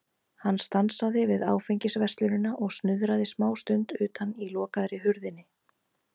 Hann stansaði við Áfengisverslunina og snuðraði smástund utan í lokaðri hurðinni.